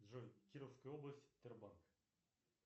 джой кировская область тербанк